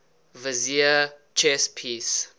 vizier chess piece